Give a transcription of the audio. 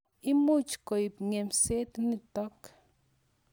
Imuch koip ng'emset nitok .